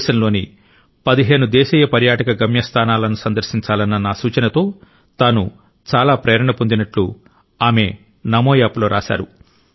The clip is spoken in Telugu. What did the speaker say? దేశంలోని 15 దేశీయ పర్యాటక గమ్యస్థానాలను సందర్శించాలన్న నా సూచనతో తాను చాలా ప్రేరణ పొందినట్టు ఆమె నమో యాప్ లో రాశారు